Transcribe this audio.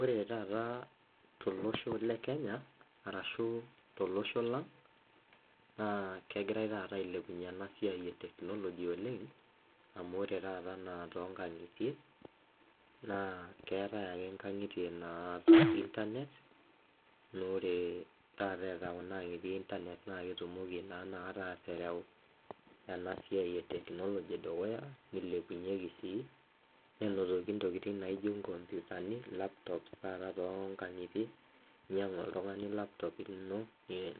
Ore taata te losho le Kenya arashu te losho lang, naa kegirai taata ailepunye ena siai e teknoloji oleng amu ore taata ana to nkangitie, naa keatae ake nkangitei naata internet, ore taata eata kuna aing'itie internet naa ketumoki naa inakatai aatereu ena siai e teknoloji dukuya, neilepunyeki sii, nenotoki ntokitin naijo nkompitani laptops taata too nkang'itie, inyang'u oltungani laptop lino